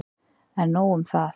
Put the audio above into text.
En nóg um það.